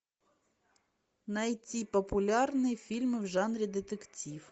найти популярные фильмы в жанре детектив